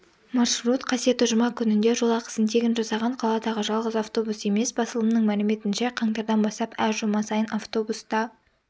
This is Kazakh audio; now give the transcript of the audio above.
маршрут қасиетті жұма күнінде жол ақысын тегін жасаған қаладағы жалғыз автобус емес басылымның мәліметінше қаңтардан бастап әр жұма сайын автобус та